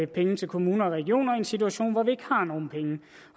penge til kommuner og regioner i en situation hvor vi ikke har nogen penge